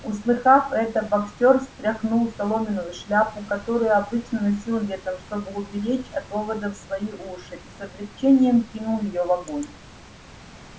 услыхав это боксёр стряхнул соломенную шляпу которую обычно носил летом чтобы уберечь от оводов свои уши и с облегчением кинул её в огонь